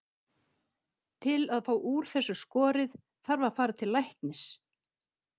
Til að fá úr þessu skorið þarf að fara til læknis.